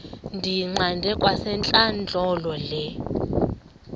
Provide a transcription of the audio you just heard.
ndiyiqande kwasentlandlolo le